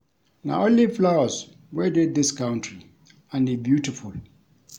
Na only flowers wey dey dis country and e beautiful